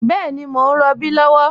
Bẹẹni, mọ̀ n rọbí lọwọ